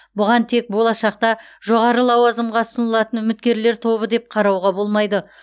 бұған тек болашақта жоғары лауазымға ұсынылатын үміткерлер тобы деп қарауға болмайды